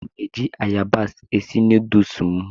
Ana m eji ayabas esi nuduls m.